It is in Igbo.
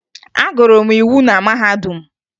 Agụrụ m iwu na mahadum